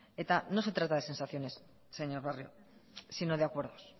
eta no se trata de sensaciones señor barrio sino de acuerdos